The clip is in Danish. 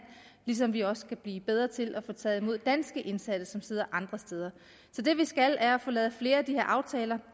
ligesom vi også skal blive bedre til at få taget imod danske indsatte som sidder andre steder så det vi skal er at få lavet flere af de her aftaler